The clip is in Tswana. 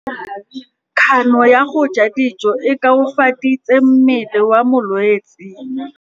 Kganô ya go ja dijo e koafaditse mmele wa molwetse.